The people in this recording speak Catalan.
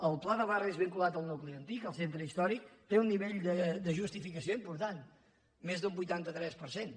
el pla de barris vinculat al nucli antic al centre històric té un nivell de justificació important més d’un vuitanta tres per cent